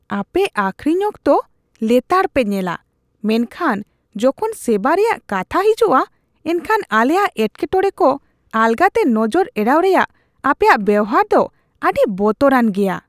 ᱟᱯᱮ ᱟᱹᱠᱷᱨᱤᱧ ᱚᱠᱛᱚ ᱞᱮᱛᱟᱲ ᱯᱮ ᱧᱮᱞᱟ, ᱢᱮᱱᱠᱷᱟᱱ ᱡᱚᱠᱷᱚᱱ ᱥᱮᱵᱟ ᱨᱮᱭᱟᱜ ᱠᱟᱛᱷᱟ ᱦᱤᱡᱩᱜᱼᱟ ᱮᱱᱠᱷᱟᱱ ᱟᱞᱮᱭᱟᱜ ᱮᱴᱠᱮᱴᱚᱲᱮ ᱠᱚ ᱟᱞᱜᱟ ᱛᱮ ᱱᱚᱡᱚᱨ ᱮᱲᱟᱣ ᱨᱮᱭᱟᱜ ᱟᱯᱮᱭᱟᱜ ᱵᱮᱣᱦᱟᱨ ᱫᱚ ᱟᱹᱰᱤ ᱵᱚᱛᱚᱨᱟᱱ ᱜᱮᱭᱟ ᱾ (ᱜᱟᱦᱟᱠ)